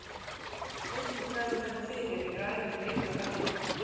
Einnig bregður henni fyrir í ræðum leikra höfðingja.